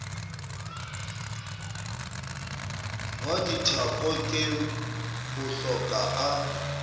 wa dithako ke hohloka a